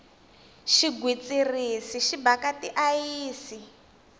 xigwitsirisi xi bhaka ti ayisi